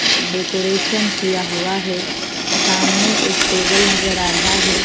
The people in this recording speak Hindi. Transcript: डेकोरेशन किया हुआ है सामने एक टेबल नजर आ रहा है।